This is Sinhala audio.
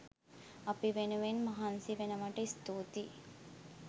අපි වෙනුවෙන් මහන්සි වෙනවට ස්තුතියි!